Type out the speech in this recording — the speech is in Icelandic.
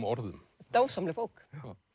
orðum dásamleg bók